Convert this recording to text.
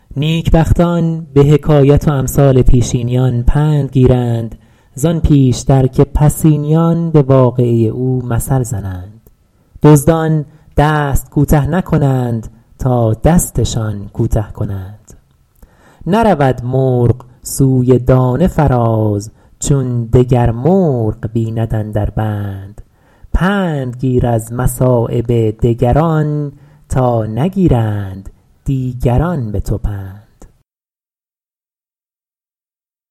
نیکبختان به حکایت و امثال پیشینیان پند گیرند زآن پیشتر که پسینیان به واقعه او مثل زنند دزدان دست کوته نکنند تا دستشان کوته کنند نرود مرغ سوی دانه فراز چون دگر مرغ بیند اندر بند پند گیر از مصایب دگران تا نگیرند دیگران به تو پند